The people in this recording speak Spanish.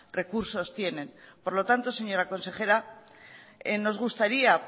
recursos tienen por lo tanto señora consejera nos gustaría